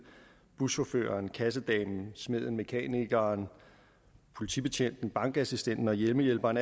buschaufføreren kassedamen smeden mekanikeren politibetjenten bankassistenten og hjemmehjælperen